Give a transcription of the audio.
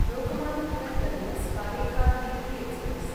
Lokmanya Tilak terminus Karaikal weekly express